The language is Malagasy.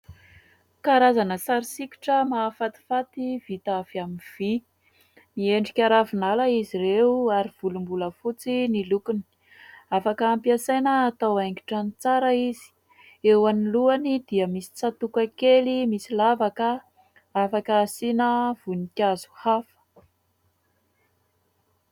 karazana sary sikotra mahafatifaty vita avy amin'ny vy, miendrika ravinala izy ireo ary volombolafotsy ny lokony. Afaka ampiasaina atao haingon-trano ny tsara izy, eo anoloany dia misy tsatoka kely misy lavaka afaka asiana voninkazo hafa